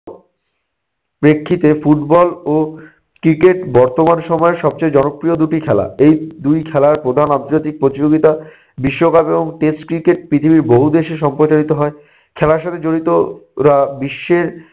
প্রেক্ষিতে football ও cricket বর্তমান সময়ের সবচেয়ে জনপ্রিয় দু'টি খেলা। এই দুই খেলার প্রধান আন্তর্জাতিক প্রতিযোগিতা বিশ্বকাপ এবং test cricket পৃথিবীর বহু দেশে সম্প্রচারিত হয়। খেলার সাথে জড়িত রা বিশ্বের